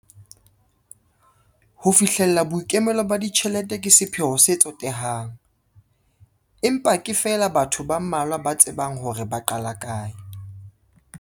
Ho fihlella boikemelo ba ditjhelete ke sepheo se tsotehang, empa ke feela batho ba mmalwa ba tsebang hore ba qala kae.